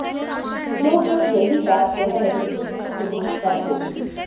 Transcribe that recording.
लोग बस यही बात कर रहे थे कि सुबह कब होगी